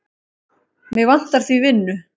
Mig vantar því vinnu.